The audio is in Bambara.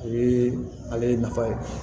O ye ale nafa ye